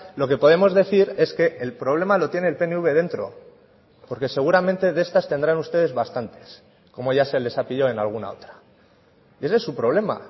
lo que podemos decir es que el problema lo tiene el pnv dentro porque seguramente de estas tendrán ustedes bastantes como ya se les ha pillado en alguna otra ese es su problema